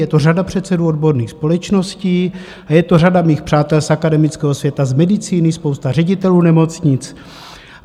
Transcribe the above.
Je to řada předsedů odborných společností a je to řada mých přátel z akademického světa, z medicíny, spousta ředitelů nemocnic.